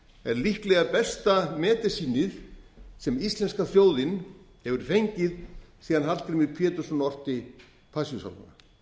er líklega besta medisínið sem íslenska þjóðin hefur fengið síðan hallgrímur pétursson orti passíusálmana